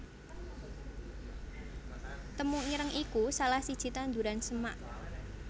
Temu ireng iku salah siji tanduran semak